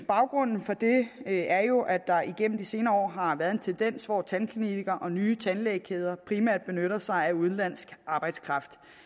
baggrunden for det er jo at der igennem de senere år har været en tendens til at tandklinikker og nye tandlægekæder primært benytter sig af udenlandsk arbejdskraft